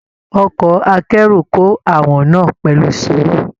Ọkọ akẹ́rù kò àwọn náà pẹlu sùúrù